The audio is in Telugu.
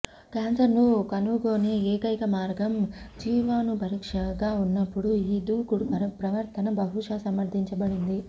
క్యాన్సర్ను కనుగొనే ఏకైక మార్గం జీవాణుపరీక్షగా ఉన్నప్పుడు ఈ దూకుడు ప్రవర్తన బహుశా సమర్థించబడింది